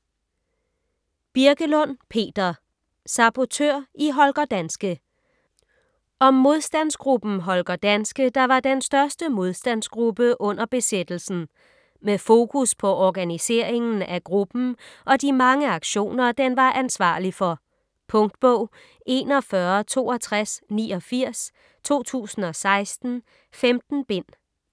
Birkelund, Peter: Sabotør i Holger Danske Om modstandsgruppen Holger Danske, der var den største modstandsgruppe under besættelsen. Med fokus på organiseringen af gruppen og de mange aktioner, den var ansvarlig for. Punktbog 416289 2016. 15 bind.